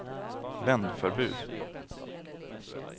vändförbud